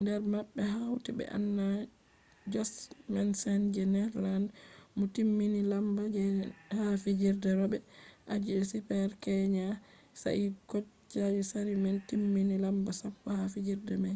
der mabbe hauti be anna jochemsen je netherlands mo timmini lamba je'nai ha fijirde robe aji je super-g kenya sai bo katja saarinen timmini lamba sappo ha fijirde mai